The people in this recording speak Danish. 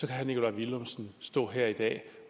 kan herre nikolaj villumsen stå her i dag